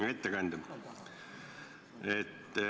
Hea ettekandja!